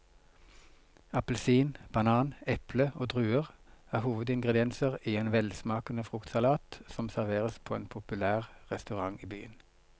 Appelsin, banan, eple og druer er hovedingredienser i en velsmakende fruktsalat som serveres på en populær restaurant i byen.